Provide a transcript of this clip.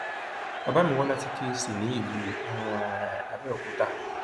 bàbá mi wá láti kẹẹsì ní ìlú um àbẹòkúta